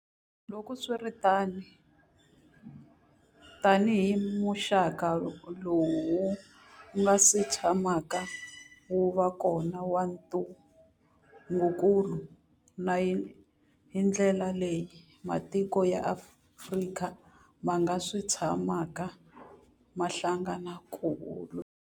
Loko swi ri tano, tanihi muxaka lowu wu nga si tshamaka wu va kona wa ntungukulu, na hi ndlela leyi matiko ya Afrika ma nga si tshamaka ma hlangana ku wu lwisa.